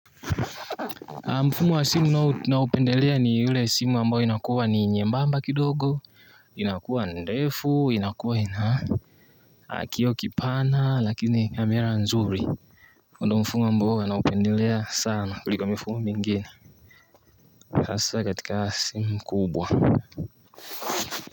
Mfumo wa simu naupendelea ni ule simu ambayo inakuwa ni nyembamba kidogo inakuwa ndefu, inakuwa ina kioo kipana lakini kamera nzuri Mundo mfumo ambao ninaupendelea sana kulika mifumo mingine hasa katika simu kubwa.